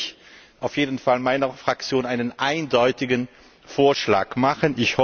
Da werde ich auf jeden Fall meiner Fraktion einen eindeutigen Vorschlag machen.